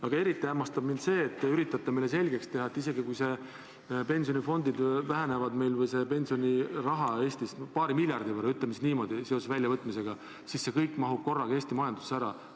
Aga eriti hämmastab mind see, et te üritate meile selgeks teha, et isegi kui pensionifondides olev raha Eestis väheneb paari miljardi võrra, ütleme siis niimoodi, seoses väljavõtmisega, siis see kõik mahub korraga Eesti majandusse ära.